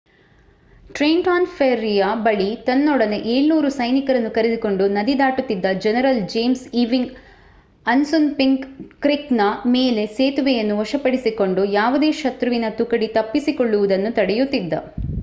Trenton ಫೆರ್ರಿಯ ಬಳಿ ತನ್ನೊಡನೆ 700 ಸೈನಿಕರನ್ನು ಕರೆದುಕೊಂಡು ನದಿ ದಾಟುತಿದ್ದ ಜನರಲ್ ಜೇಮ್ಸ್ ಈವಿಂಗ್ ಅಸ್ಸುನ್‌ಪಿಂಕ್ ಕ್ರಿಕ್‍‌ನ ಮೇಲೆ ಸೇತುವೆಯನ್ನು ವಶಪಡಿಸಿಕೊಂಡು ಯಾವುದೇ ಶತ್ರುವಿನ ತುಕಡಿ ತಪ್ಪಿಸಿಕೊಳ್ಳುವುದನ್ನು ತಡೆಯುತ್ತಿದ್ದ